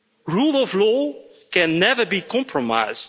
Rule of law can never be compromised.'